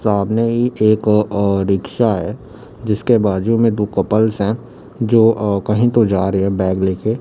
सामने ही एक अ रिक्शा है जिसके बाजू में दो कपल्स हैं जो कहीं तो जा रहे हैं बैग ले के।